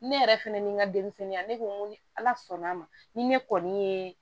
Ne yɛrɛ fɛnɛ ni n ka denmisɛnninya ne ko n ko ni ala sɔnn'a ma ni ne kɔni ye